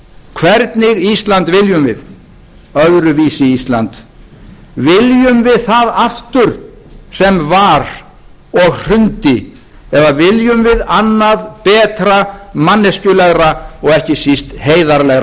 hvernig ísland viljum við öðruvísi ísland viljum við það aftur sem var og hrundi eða viljum við annað betra manneskjulegra og ekki síst heiðarlegra samfélag aðkoman var ekki burðug